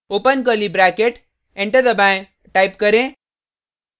open curly bracket enter दबाएँ type करें